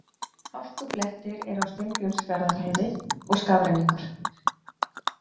Hálkublettir eru á Steingrímsfjarðarheiði og skafrenningur